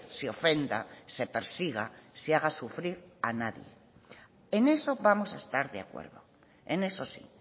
se ofenda se persiga se haga sufrir a nadie en eso vamos a estar de acuerdo en eso sí